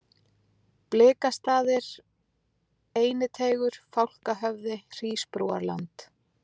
Bliksastaðir, Einiteigur, Fálkahöfði, Hrísbrúarland